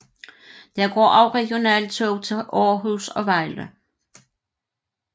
Der går også regionaltog til Aarhus og Vejle